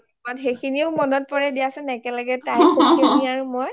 অ সেইসিনিয়ে মনত পৰে দিয়াচোন একেলগে তুমি আৰু মই